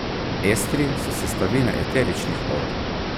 Estri so sestavine eteričnih olj.